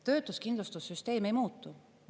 Töötuskindlustussüsteem ei muutu.